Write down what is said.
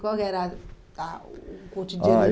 Qual que era a o o cotidiano? Ah